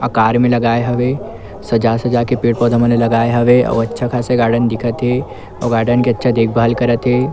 आकार में लगाए हवे सजा-सजा के पेड़-पौधे मन ल लगाए हवे अउ अच्छा खासा गार्डन दिखत हे अउ गार्डन के अच्छा देखभाल करत हे।